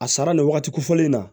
A sara nin wagati kofɔlen in na